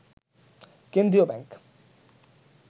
কেন্দ্রীয় ব্যাংক